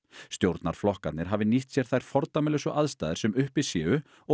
stjórnarflokkarnir hafi nýtt sér þær fordæmalausu aðstæður sem uppi séu og